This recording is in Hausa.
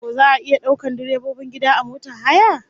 Ko za'a iya daukar dabbobin gida a motar haya?